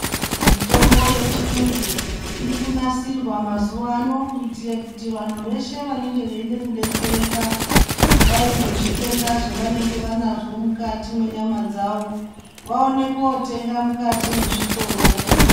Mitombo yechiyungu irikunasirwa mazuva ano, kuitire kuti vantu veshe vanenge veida kudetsereka kudai ngezvitenda zvavanenge vanazvo mukati mwenyama dzavo. Vaone kotenga mukati mwezvitoro vadetsereke.